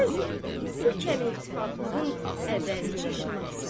Söz yox, bu kəm iltifatlığın əvvəlki işarəsidir.